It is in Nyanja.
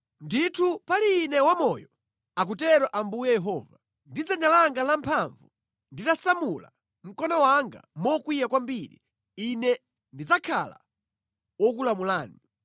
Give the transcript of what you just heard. Ndithu pali Ine wamoyo, akutero Ambuye Yehova, ndi dzanja langa lamphamvu, nditasamula mkono wanga mokwiya kwambiri, Ine ndidzakhala wokulamulani.